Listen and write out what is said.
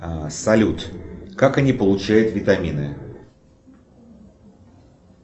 салют как они получают витамины